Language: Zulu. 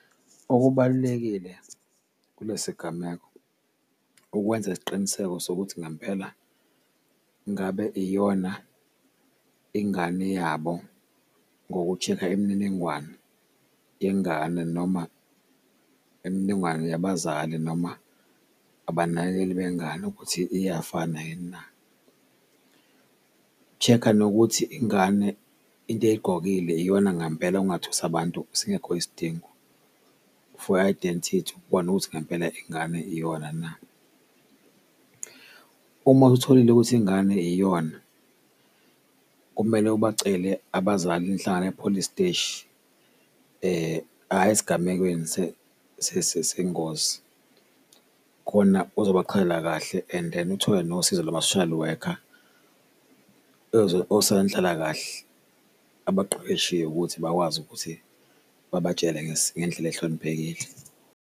Okubalulekile kule sigameko ukwenza isiqiniseko sokuthi ngempela ngabe iyona ingane yabo ngo-check-a imininingwane yengane, noma imininingwane khona yabazali, noma abanakekeli bengane ukuthi iyafana yini na. Check-a nokuthi ingane into eyigqokile iyona ngampela ungathusi abantu singekho isidingo for i-identity ukubona ukuthi ngempela ingane iyona na. Uma usutholile ukuthi ingane iyona, kumele ubacele abazali nihlangane epholisi steshi ayi esigamekweni sengozi khona uzobachazela kahle and then uthole nosizo lwama-social worker, osonhlalakahle abaqeqeshiwe ukuthi bakwazi ukuthi babatshele ngendlela ohloniphekile.